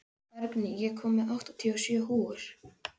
Bergný, ég kom með áttatíu og sjö húfur!